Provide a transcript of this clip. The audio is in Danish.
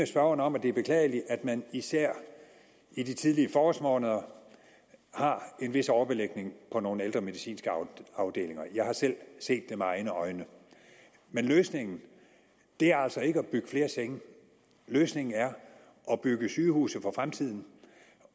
spørgeren om at det er beklageligt at man især i de tidlige forårsmåneder har en vis overbelægning på nogle ældre medicinske afdelinger jeg har selv set det med egne øjne men løsningen er altså ikke at bygge flere senge løsningen er at bygge sygehuse for fremtiden